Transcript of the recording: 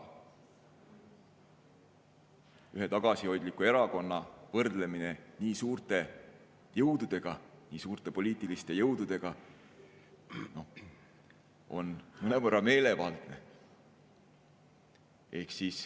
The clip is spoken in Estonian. Ühe tagasihoidliku erakonna võrdlemine nii suurte jõududega, nii suurte poliitiliste jõududega on mõnevõrra meelevaldne.